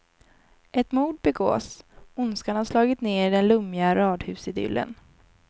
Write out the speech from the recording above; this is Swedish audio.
Ett mord begås, ondskan har slagit ner i den lummiga radhusidyllen.